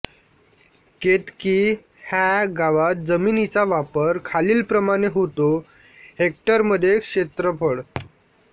केतकी ह्या गावात जमिनीचा वापर खालीलप्रमाणे होतो हेक्टरमध्ये क्षेत्रफळ